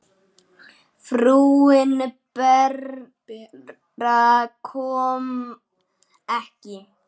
Frúin Bera kom ekki.